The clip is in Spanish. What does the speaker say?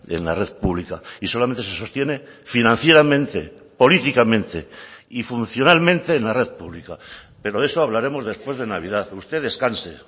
en la red pública y solamente se sostiene financieramente políticamente y funcionalmente en la red pública pero de eso hablaremos después de navidad usted descanse